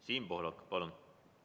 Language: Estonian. Siim Pohlak, palun!